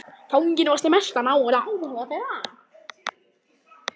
Fanginn vakti mestan áhuga þeirra.